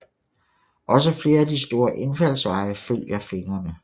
Også flere af de store indfaldsveje følger fingrene